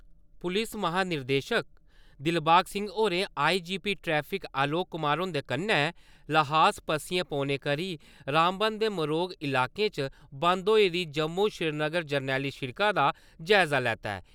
पुलस महानिदेशक दिलवाग सिंह होरें आई.जी.पी ट्रैफिक अलोक कुमार हुन्दे कन्नै ल्हास पस्सिया पौने करी रामबन दे मरोग इलाकें च बंद होई दी जम्मू-श्रीनगर जरनैली सिड़का दा जाय़जा लैता ऐ।